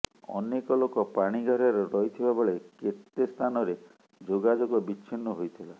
ଅନେକ ଲୋକ ପାଣିଘେରରେ ରହିଥିବା ବେଳେ କେତେ ସ୍ଥାନରେ ଯୋଗଯୋଗ ବିଚ୍ଛିନ୍ନ ହୋଇଥିଲା